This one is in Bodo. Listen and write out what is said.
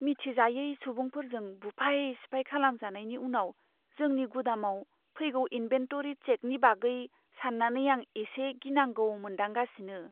मिथिजायै सुबुंफोरजों बुफाय सिफाय खालामजानायनि उनाव जोंनि गुदामाव फैगौ इन्भेन्टरि चेकनि बागै साननानै आं एसे गिनांगौ मोनदांगासिनो।